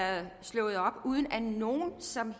slået op uden at nogen som